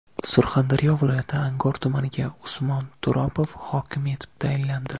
Surxondaryo viloyati Angor tumaniga Usmon Turopov hokim etib tayinlandi.